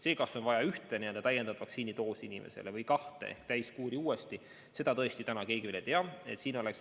See, kas inimestele on vaja ühte täiendavat vaktsiinidoosi või kahte ehk täiskuuri uuesti, seda täna keegi veel ei tea.